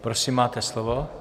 Prosím máte slovo.